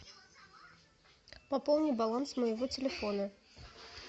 пополни баланс моего телефона